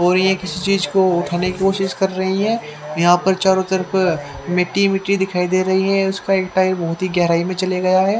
और ये किसी चीज को उठाने की कोशिश कर रहे हैं यहां पर चारों तरफ मिट्टी ही मिट्टी दिखाई दे रही है इसका एक टायर बहोत ही गहराई में चले गया है।